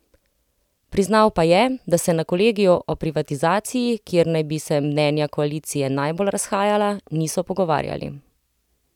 Priznal pa je, da se na kolegiju o privatizaciji, kjer naj bi se mnenja koalicije najbolj razhajala, niso pogovarjali.